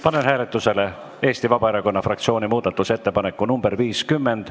Panen hääletusele Eesti Vabaerakonna fraktsiooni muudatusettepaneku nr 50.